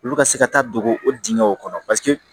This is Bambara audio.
Olu ka se ka taa don o dingɛw kɔnɔ